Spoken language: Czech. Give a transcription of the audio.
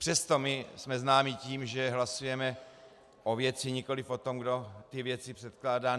Přesto my jsme známi tím, že hlasujeme o věci, nikoliv o tom, kdo ty věci předkládá.